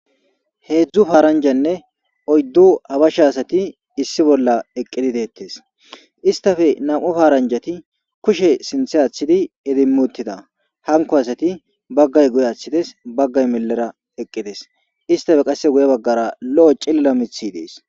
heedzdzu paaranjanne oyddo habasha asati issi bolla eqqidi deettes istafe nam7o faaranjati kushe sinthe aaththidi edimmuttida hanko asati baggay guy aththides baggay mellera eqqides istafe qasse guye baggara lo7o cilla mithi dees